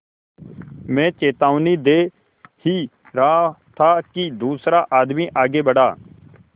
मैं चेतावनी दे ही रहा था कि दूसरा आदमी आगे बढ़ा